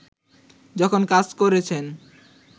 যখন কাজ করেছেন